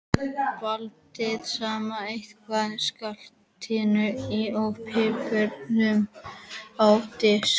Blandið saman hveitinu, saltinu og piparnum á disk.